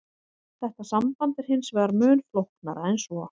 Þetta samband er hins vegar mun flóknara en svo.